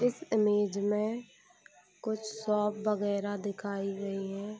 इस इमेज में कुछ शॉप वगैरह दिखाई दी है ।